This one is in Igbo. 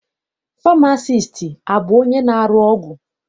Famasiisti abụ onye na-arụ ọgwụ?